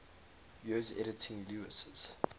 years editing lewes's